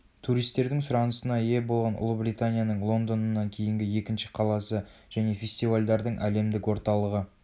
туристердің сұранысына ие болған ұлыбританияның лондонынан кейінгі екінші қаласы және фестивальдардың әлемдік орталығы